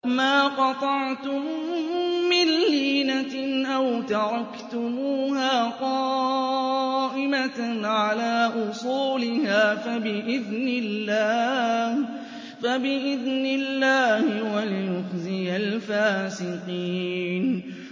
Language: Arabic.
مَا قَطَعْتُم مِّن لِّينَةٍ أَوْ تَرَكْتُمُوهَا قَائِمَةً عَلَىٰ أُصُولِهَا فَبِإِذْنِ اللَّهِ وَلِيُخْزِيَ الْفَاسِقِينَ